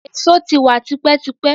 Èso ti wa tipẹ́ tipẹ́.